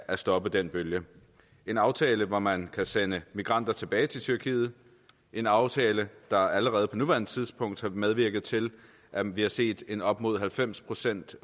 at stoppe den bølge en aftale hvor man kan sende migranter tilbage til tyrkiet en aftale der allerede på nuværende tidspunkt har medvirket til at vi har set en op mod halvfems procent